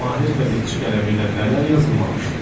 Mahir qəzetçi qələmi ilə nələr yazılmamışdı ki.